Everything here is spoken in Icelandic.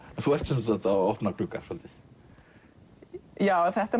þú ert sem sagt að opna glugga svolítið þetta